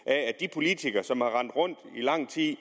politikere som i lang tid